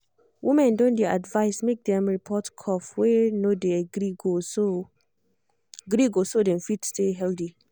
women don dey advised make dem report cough wey no dey gree go so gree go so dem fit stay healthy